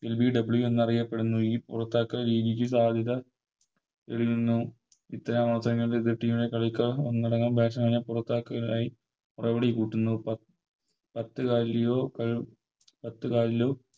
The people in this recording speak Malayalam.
LBW എന്നറിയപ്പെടുന്ന ഈ പുറത്താക്കൽ രീതിക്ക് സാധ്യത വരുന്നു ഇത്തരം അവസരങ്ങളിൽ എതിർ Team ലെ കളിക്കാർ ഒന്നടങ്കം Batsman നെ പൊറത്താക്കാനായി പ്രൗഢി കൂട്ടുന്നു പത്ത് പത്ത് കലിലോ